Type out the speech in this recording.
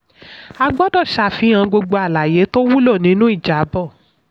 a gbọ́dọ̀ sàfihàn gbogbo àlàyé tó wúlò nínú ìjábọ̀.